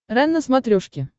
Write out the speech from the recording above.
рен на смотрешке